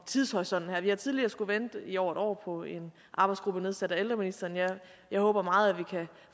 tidshorisonten her vi har tidligere skullet vente i over et år på en arbejdsgruppe nedsat af ældreministeren jeg håber meget at vi kan